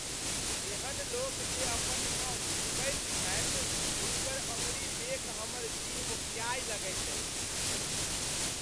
एहन लोक जे अपन नौह चिबबैत छथि हुनकर अङ्गुरी देखि हमर जीह ओकियाय लगैत अछि।